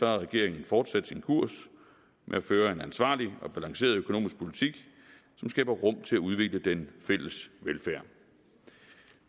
har regeringen fortsat sin kurs med at føre en ansvarlig og balanceret økonomisk politik som skaber rum til at udvikle den fælles velfærd